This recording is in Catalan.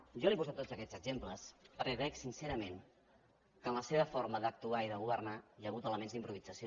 jo li he posat tots aquests exemples perquè crec sincerament que en la seva forma d’actuar i de governar hi ha hagut elements d’improvisació